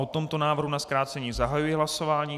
O tomto návrhu na zkrácení zahajuji hlasování.